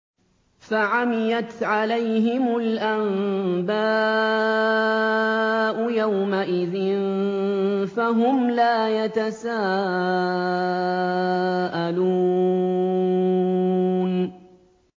فَعَمِيَتْ عَلَيْهِمُ الْأَنبَاءُ يَوْمَئِذٍ فَهُمْ لَا يَتَسَاءَلُونَ